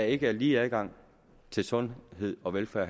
ikke er lige adgang til sundhed og velfærd